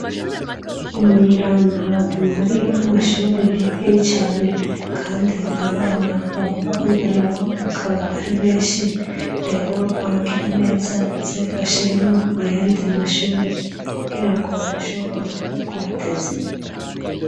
imuyirani ahantu hari amashuri makeyi cyane kandi abana bagomba kwiga nabo bakaba ari benshi rero abagira neza baze bashiremo ayandiye mashuri kugira ngo bashobore naho kuhateza imbere.